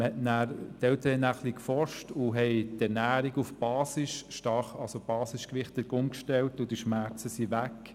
Die Eltern haben nachher ein wenig geforscht und die Ernährung auf basisch, also stark basisch gewichtet umgestellt, und die Schmerzen gingen weg.